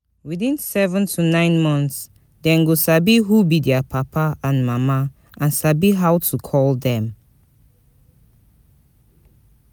Within seven to nine months dem go sabi who be their papa and mama and sabi how to call dem